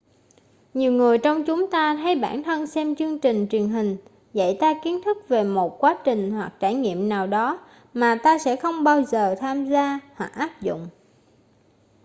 nhiều người trong chúng ta thấy bản thân xem chương trình truyền hình dạy ta kiến thức về một quá trình hoặc trải nghiệm nào đó mà ta sẽ không bao giờ tham gia hoặc áp dụng